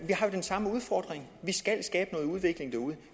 samme udfordring vi skal skabe noget udvikling derude